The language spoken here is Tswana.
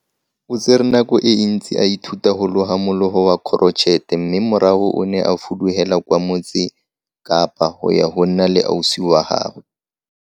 Tirisanommogo le lekala la poraefete e botlhokwa mo go ngokeleng dipeeletso tse dintšhwa, thekenoloji le kitso e leng tseo di tla dirisiwang mo ditirong tsa boemelakepele mmogo le go tlisa didirisiwa le mafaratlhatlha a segompieno.